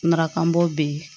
Maraka bɔ bɛ ye